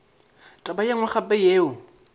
taba ye nngwe gape yeo